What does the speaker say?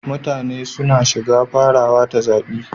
Mutane suna shiga farawa ta zaɓi.